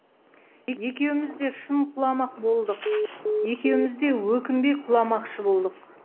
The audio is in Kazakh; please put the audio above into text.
екеуміз де шын құламақ болдық екеумізде өкінбей құламақшы болдық